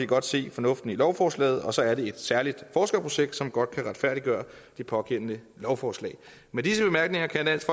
godt se fornuften i lovforslaget og så er det et særligt forskerprojekt som godt kan retfærdiggøre det pågældende lovforslag med disse bemærkninger kan dansk